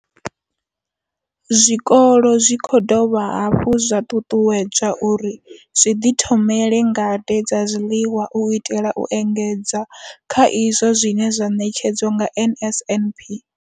Zwikolo zwi khou dovha hafhu zwa ṱuṱuwedzwa uri zwi ḓi ṱhogomele zwi ḓi thomele ngade dza zwiḽiwa u itela u engedza kha izwo zwine zwa ṋetshedzwa nga NSNP.